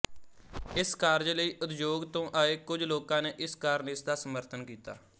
ਇਸ ਕਾਰਜ ਲਈ ਉਦਯੋਗ ਤੋਂ ਆਏ ਕੁਝ ਲੋਕਾਂ ਨੇ ਇਸ ਕਾਰਨ ਇਸਦਾ ਸਮਰਥਨ ਕੀਤਾ